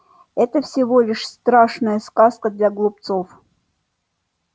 это всего лишь страшная сказка для глупцов